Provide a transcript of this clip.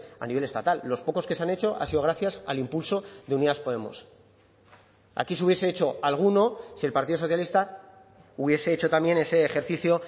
a nivel estatal los pocos que se han hecho ha sido gracias al impulso de unidas podemos aquí se hubiese hecho alguno si el partido socialista hubiese hecho también ese ejercicio